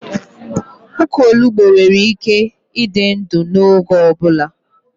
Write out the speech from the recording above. Ukwu Onugbu nwere ike ịdị ndụ n'oge ọ bụla